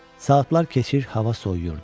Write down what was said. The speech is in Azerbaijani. Saatlar keçir, hava soyuyurdu.